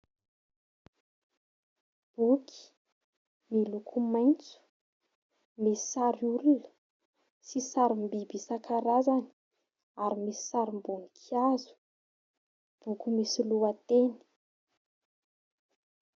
Boky miloko maitso misy sarin'olona sy sarim-biby isan-karazany ary misy sarim-boninkazo. Boky misy lohateny.